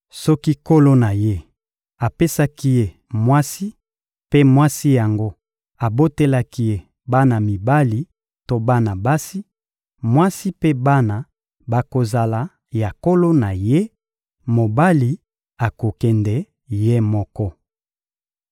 Soki nkolo na ye apesaki ye mwasi mpe mwasi yango abotelaki ye bana mibali to bana basi, mwasi mpe bana bakozala ya nkolo na ye; mobali akokende ye moko.